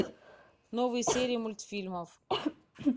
новые серии мультфильмов